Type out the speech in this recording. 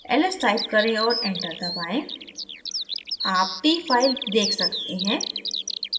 ls type करें और enter दबाएँ आप t file देख सकते हैं